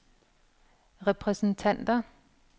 repræsentanter